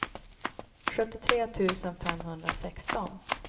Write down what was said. sjuttiotre tusen femhundrasexton